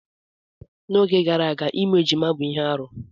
N'oge gara aga ịmụ ejima bụ ihe arụ.